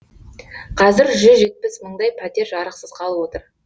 қазір жүз жетпіс мыңдай пәтер жарықсыз қалып отыр